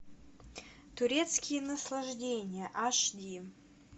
турецкие наслаждения аш ди